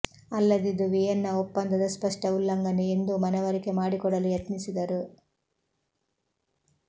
ಅಲ್ಲದೆ ಇದು ವಿಯೆನ್ನಾ ಒಪ್ಪಂದದ ಸ್ಪಷ್ಟ ಉಲ್ಲಂಘನೆ ಎಂದೂ ಮನವರಿಕೆ ಮಾಡಿಕೊಡಲು ಯತ್ನಿಸಿದರು